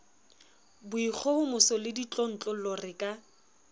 boikgohomoso le ditlontlollo re ka